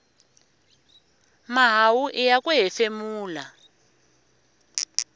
mahawu iya ku hefemula